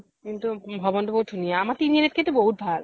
কিন্তু ভৱন তো বহুত ধুনীয়া । আম্ৰ তিনি আলি ত কে তো বহুত ভাল